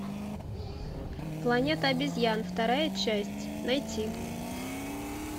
планета обезьян вторая часть найти